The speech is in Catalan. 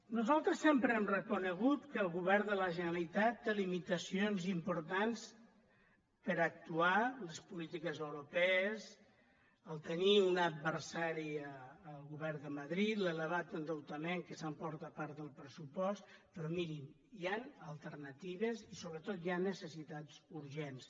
nosaltres sempre hem reconegut que el govern de la generalitat té limitacions importants per actuar les polítiques europees tenir un adversari al govern de madrid l’elevat endeutament que s’emporta part del pressupost però mirin hi han alternatives i sobretot hi han necessitats urgents